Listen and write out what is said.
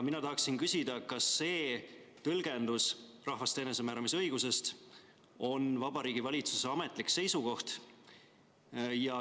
Mina tahan küsida, kas see tõlgendus rahvaste enesemääramisõigusest on Vabariigi Valitsuse ametlik seisukoht.